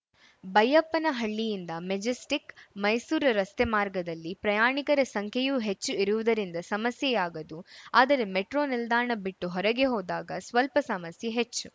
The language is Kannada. ಬೈಯ್ಯಪ್ಪನಹಳ್ಳಿಯಿಂದ ಮೆಜೆಸ್ಟಿಕ್‌ಮೈಸೂರು ರಸ್ತೆ ಮಾರ್ಗದಲ್ಲಿ ಪ್ರಯಾಣಿಕರ ಸಂಖ್ಯೆಯೂ ಹೆಚ್ಚು ಇರುವುದರಿಂದ ಸಮಸ್ಯೆಯಾಗದು ಆದರೆ ಮೆಟ್ರೋ ನಿಲ್ದಾಣ ಬಿಟ್ಟು ಹೊರಗೆ ಹೋದಾಗ ಸ್ವಲ್ಪ ಸಮಸ್ಯೆ ಹೆಚ್ಚು